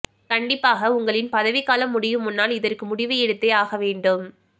கண்டிப்பாக உங்களின் பதவிக்காலம் முடியும் முன்னால் இதற்கு முடிவு எடுத்தே ஆக வேண்டும்